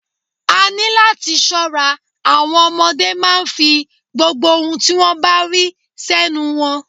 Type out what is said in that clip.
A ní láti ṣọ́ra, àwọn ọmọdé máa ń fi gbogbo ohun tí wón bá rí sẹ́nu wọn.